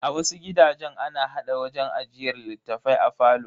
A wasu gidajen, ana hada wajen ajiyar littafai a falo.